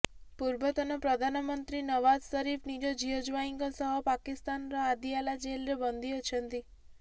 ପୂର୍ବତନ ପ୍ରଧାନମନ୍ତ୍ରୀ ନୱାଜ ସରିଫ ନିଜ ଝିଅ ଜ୍ୱାଇଁଙ୍କ ସହ ପାକିସ୍ତାନର ଆଦିଆଲା ଜେଲରେ ବନ୍ଦୀ ଅଛନ୍ତି